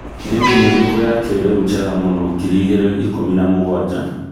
nĩ ĩrĩkũ thimũ ya kĩrĩũ njega mũno ngiri igĩri ikũmi na mũgwaja